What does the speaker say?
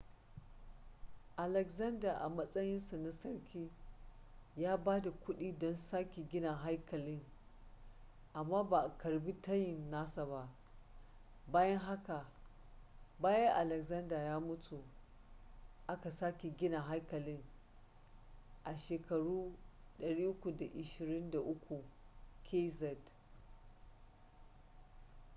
alexander a matsayin sa na sarki ya ba da kuɗi don sake gina haikalin amma ba a karɓi tayin nasa ba bayan haka bayan alexander ya mutu aka sake gina haikalin a 323 kz